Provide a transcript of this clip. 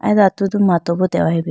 ay do atudu mato bi dehoyi bo.